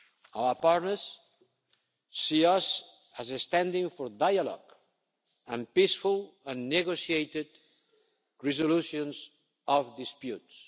agenda. Our partners see us as standing for dialogue and peaceful and negotiated resolutions of disputes.